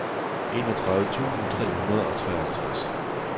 enogtredive tusind tre hundrede og treoghalvtreds